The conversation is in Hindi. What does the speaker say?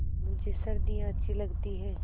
मुझे सर्दियाँ अच्छी लगती हैं